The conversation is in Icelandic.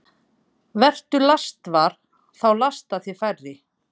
Vertu lastvar – þá lasta þig færri.